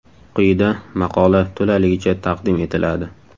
Quyida maqola to‘laligicha taqdim etiladi.